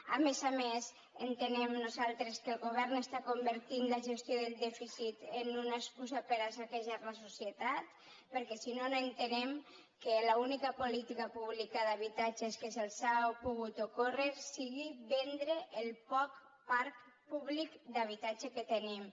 a més a més entenem nosaltres que el govern està convertint la gestió del dèficit en una excusa per a saquejar la societat perquè si no no entenem que l’única política pública d’habitatge que se’ls ha pogut ocórrer sigui vendre el poc parc públic d’habitatge que tenim